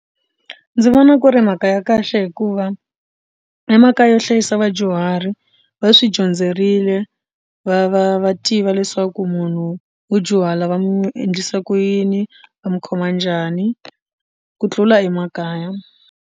Ndzi vona ku ri mhaka ya kahle hikuva emakaya yo hlayisa vadyuhari va swi dyondzerile va va va tiva leswaku munhu wo dyuhala va mu endlisa ku yini va mu khoma njhani ku tlula emakaya.